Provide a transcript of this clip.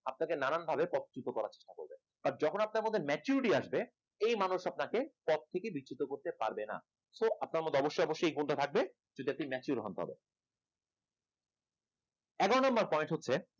আপনাকে নানানভাবে পথচূতো করার চেষ্টা করবেন যখন আপনার মধ্যে maturity আসবে এই মানুষ আপনাকে পথ থেকে বিচ্যুত করতে পারবে না so আপনার মধ্যে অবশ্য এই গুণটা থাকবে যদি আপনি mature হন তবে এগারো number point হচ্ছে